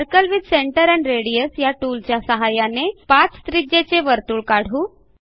circle with centre and radius या टूलच्या सहाय्याने 5 त्रिज्येचे वर्तुळ काढू